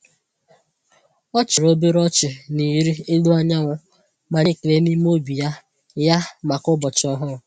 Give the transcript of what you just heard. Ọ chịrị obere ọchị na ịrị elu anyanwụ ma nye ekele n’ime obi ya ya maka ụbọchị ọhụrụ.